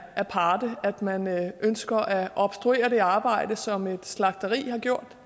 aparte at man ønsker at obstruere det arbejde som et slagteri har gjort